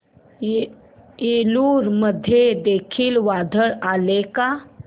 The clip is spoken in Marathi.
एलुरू मध्ये देखील वादळ आलेले का